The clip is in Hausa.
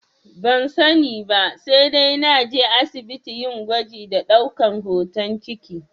Ban sani ba, sai dai naje asibiti yin gwaji da ɗaukan hoton ciki